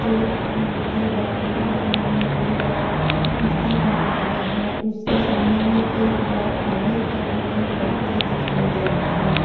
दो तीन नंदी बैल हैं एवम नंदी बैल का मूर्ति बनाया गया है उसके सामने मे एक बाइक एवम एक व्यक्ति दिखाई दे रहा है।